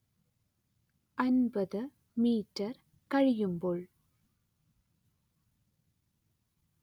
അന്‍പത്ത് metre കഴിയുമ്പോൾ